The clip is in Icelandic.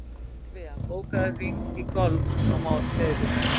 Ólivía, bókaðu hring í golf á miðvikudaginn.